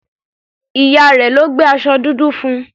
Ìyá rẹ̀ ló gbé aṣọ dúdú fún.